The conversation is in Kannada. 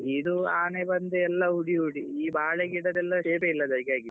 ಇದು ಆನೆ ಬಂದು ಎಲ್ಲ ಹುಡಿ ಹಿಡು ಬಾಳೆಗಿಡದೆಲ್ಲ shape ಯೇ ಇಲ್ಲದಾಗಾಗಿದೆ.